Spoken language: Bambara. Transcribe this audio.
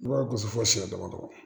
I b'a gosi fo siɲɛ damadɔ